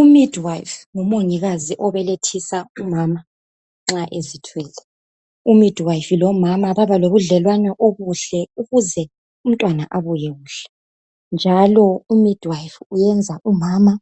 U midwife ngumongikazi obelethisa umama nxa ezithwele. U midwife lomama babalobudlelwane obuhle ukuze umntwana abuye kuhle njalo u midwife uyenza umama